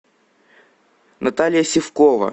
наталья сивкова